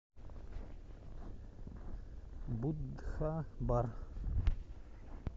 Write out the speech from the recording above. будха бар